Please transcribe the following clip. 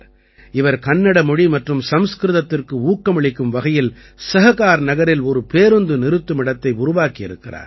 இவர் கன்னட மொழி மற்றும் சம்ஸ்கிருதத்திற்கு ஊக்கமளிக்கும் வகையிலே சஹகார்நகரில் ஒரு பேருந்து நிறுத்துமிடத்தை உருவாக்கி இருக்கிறார்